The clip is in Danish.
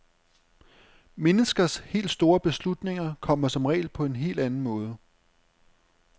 Menneskers helt store beslutninger kommer som regel på en helt anden måde.